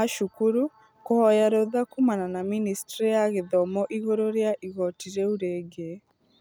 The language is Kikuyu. a cukuru kũhoya rũtha kuumana na ministry ya gĩthomo igũrũ rĩa igoti rĩu rĩngĩ.